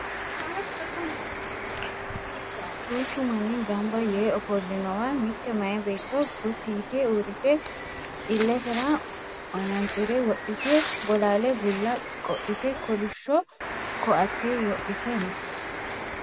duuchu manni ganaba yee ofollinowa mitte maye beetto gotti yite uurrite illesera manaantsire wodhite bolaale bulla qodhite kolishshoko"atte wodhite no